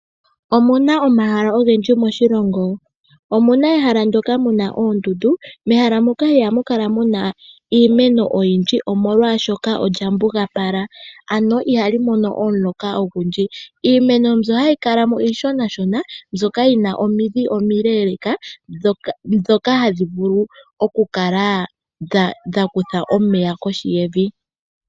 Omuna omahala ogendji moshilongo. Omuna ehala ndyoka muna oondundu, mehala moka iha mukala muna iimeno oyindji molwaashoka olyambugapala, ano ihalimono omuloka ogundji. Iimeno mbyo hayi kala mo iishonashona mbyoka yina omidhi omileeleeka ndhoka haddhi vulu oku kala dhakutha omeya kohi yevi.